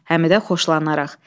Həmidə xoşlanaraq.